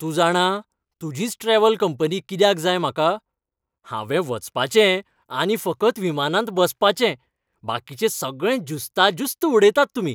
तूं जाणा, तुजीच ट्रॅव्हल कंपनी कित्याक जाय म्हाका? हावें वचपाचें आनी फकत विमानांत बसपाचें. बाकिचें सगळें ज्युस्ता ज्युस्त उडयतात तुमी.